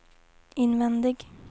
invändig